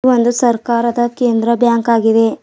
ಒಂದು ಸರ್ಕಾರದ ಕೇಂದ್ರ ಬ್ಯಾಂಕ್ ಆಗಿದೆ.